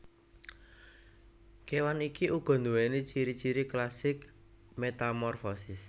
Kewan iki uga duwéni ciri ciri klasik metamorfosis